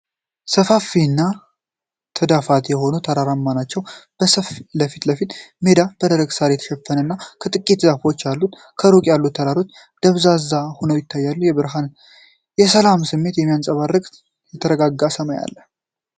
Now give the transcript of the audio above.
ሰፋፊና ተዳፋት የሆኑ ተራራዎች ናቸው። የፊት ለፊቱ ሜዳ በደረቅ ሳር የተሸፈነ እና ጥቂት ዛፎች አሉት። ሩቅ ያሉት ተራሮች ደብዛዛ ሆነው ይታያሉ፤ የብርሃንና የሰላም ስሜትን የሚያንጸባርቅ የተረጋጋ ሰማይ አለ።